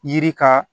Yiri ka